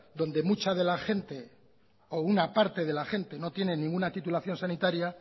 donde mucha de la gente o una parte de la gente no tiene ninguna titulación sanitaria